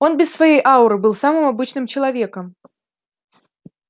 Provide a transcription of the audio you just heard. он без своей ауры был самым обычным человеком